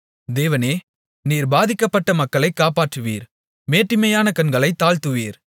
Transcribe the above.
தேவனே நீர் பாதிக்கப்பட்ட மக்களை காப்பாற்றுவீர் மேட்டிமையான கண்களைத் தாழ்த்துவீர்